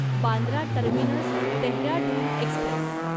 Bandra terminus Dehradun Express